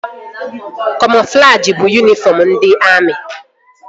Kamoflajị bụ yunifọm ndị amị